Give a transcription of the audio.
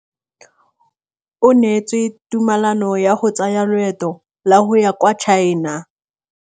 O neetswe tumalanô ya go tsaya loetô la go ya kwa China.